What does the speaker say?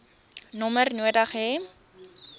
nommer nodig hê